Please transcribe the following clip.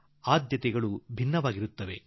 ಆದ್ಯತೆ ಬೇರೆ ಬೇರೆಯಾಗಿರುತ್ತದೆ